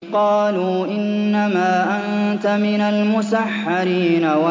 قَالُوا إِنَّمَا أَنتَ مِنَ الْمُسَحَّرِينَ